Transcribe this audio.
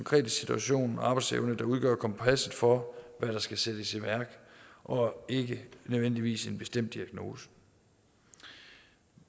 situation og arbejdsevne der udgør kompasset for hvad der skal sættes i værk og ikke nødvendigvis en bestemt diagnose